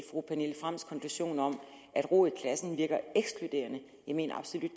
fru pernille frahms konklusion om at ro i klassen virker ekskluderende jeg mener absolut